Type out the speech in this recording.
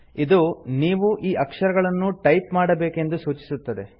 ಇದು ನೀವು ಈ ಅಕ್ಷರಗಳನ್ನು ಟೈಪ್ ಮಾಡಬೇಕೆಂದು ಸೂಚಿಸುತ್ತದೆ